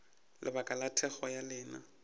lebaka la thekgo ya lena